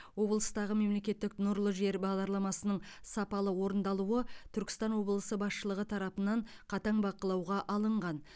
облыстағы мемлекеттік нұрлы жер бағдарламасының сапалы орындалуы түркістан облысы басшылығы тарапынан қатаң бақылауға алынған